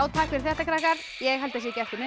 takk fyrir þetta krakkar ég held að sé ekki eftir neinu